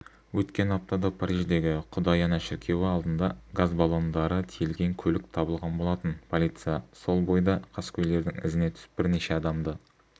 өткен аптада париждегі құдай ана шіркеуі алдында газ баллондары тиелген көлік табылған болатын полиция сол бойда қаскөйлердің ізіне түсіп бірнеше адамды